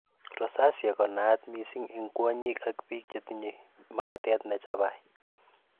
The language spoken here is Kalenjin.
rosacea konaat missing en kwonyik ak biik chetinyei makatet nechabai